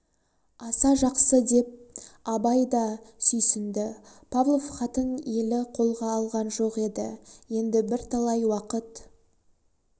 аса жақсы деп абай да сүйсінді павлов хатын елі қолға алған жоқ еді енді бірталай уақыт